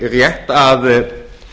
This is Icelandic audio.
rétt að